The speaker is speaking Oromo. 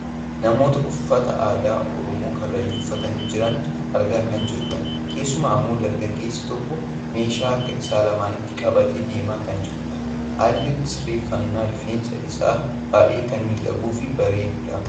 Namoota uffata aadaa Oromoo karrayyuu uffatanii jiran argaa kan jirrudha. Keessumaa ammoo dargaggeessi tokko meeshaa harka isaa lamaanitti qabatee deemaa kan jirudha. Haalli sirreeffannaa rifeensa isaa baayyee kan miidhaguufi bareedudha.